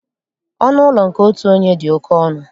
Ọnụ ụlọ nke otu onye dị oké ọnụ